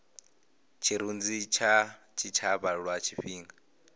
tshirunzi kha tshitshavha lwa tshifhinga